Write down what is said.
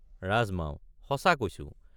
ৰাজমাও—সঁচা কৈছো।